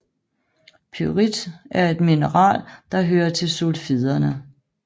Pyrit er et mineral der hører til sulfiderne